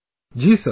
Ji Sir